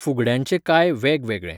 फुगड्यांचे कांय वेग वेगळे